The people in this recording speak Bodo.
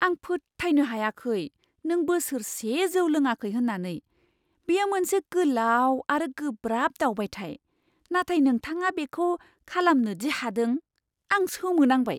आं फोथायनो हायाखै नों बोसोरसे जौ लोङाखै होन्नानै! बेयो मोनसे गोलाव आरो गोब्राब दावबायथाय, नाथाय नोंथाङा बेखौ खालामनो दि हादों, आं सोमो नांबाय!